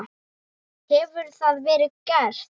Hefur það verið gert?